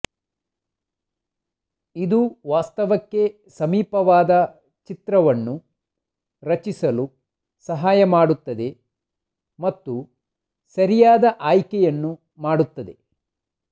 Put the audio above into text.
ಇದು ವಾಸ್ತವಕ್ಕೆ ಸಮೀಪವಾದ ಚಿತ್ರವನ್ನು ರಚಿಸಲು ಸಹಾಯ ಮಾಡುತ್ತದೆ ಮತ್ತು ಸರಿಯಾದ ಆಯ್ಕೆಯನ್ನು ಮಾಡುತ್ತದೆ